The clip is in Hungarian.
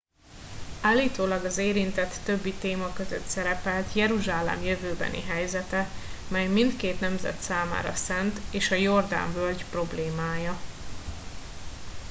állítólag az érintett többi téma között szerepelt jeruzsálem jövőbeni helyzete mely mindkét nemzet számára szent és a jordán völgy problémája